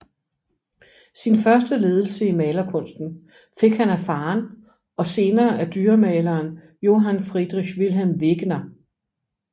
Sin første ledelse i malerkunsten fik han af faderen og senere af dyremaleren Johann Friedrich Wilhelm Wegener